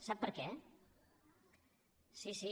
sap per què sí sí